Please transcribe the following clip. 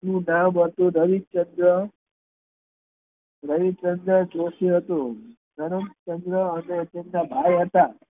તેમું નામ હતું રવિચંદ્ર રવિચંદ્ર જોશી હતું તેમનુ તેમા ભાઈ હતા